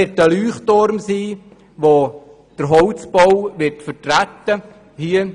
Es wird ein Leuchtturm werden, der den Holzbau vertreten wird.